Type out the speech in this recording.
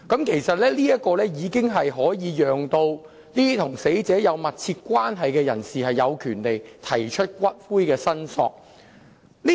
其實，這項修正案已可讓與死者有密切關係的人有權提出要求領取骨灰的申索。